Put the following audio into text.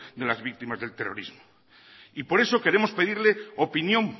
de las víctimas del terrorismo y por eso queremos pedirle opinión